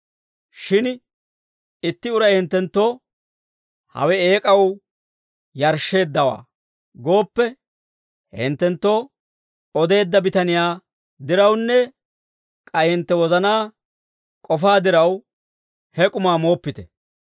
Shin itti uray hinttenttoo, «Hawe eek'aw yarshsheeddawaa» gooppe, he hinttenttoo odeedda bitaniyaa dirawunne k'ay hintte wozanaa k'ofaa diraw, he k'umaa mooppite.